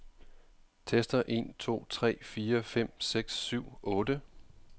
Tester en to tre fire fem seks syv otte.